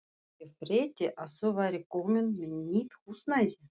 Ég frétti að þú værir komin með nýtt húsnæði.